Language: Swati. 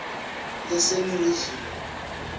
leseningizimu